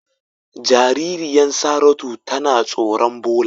Jaririyan Saratu tana tsoron ɓola.